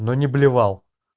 но не блевал